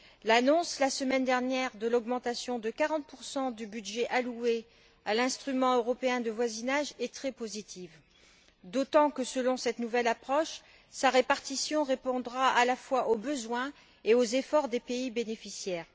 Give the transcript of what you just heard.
L'annonce, la semaine dernière, de l'augmentation de 40 du budget alloué à l'instrument européen de voisinage est très positive, d'autant que, selon cette nouvelle approche, sa répartition répondra à la fois aux besoins et aux efforts des pays bénéficiaires.